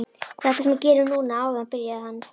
Þetta sem þú gerðir núna áðan byrjaði hann.